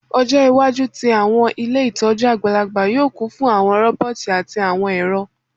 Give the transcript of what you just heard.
Ọjọ iwaju ti awọn ile itọju agbalagba yoo kun fun awọn roboti ati awọn ẹrọ